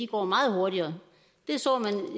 går meget hurtigere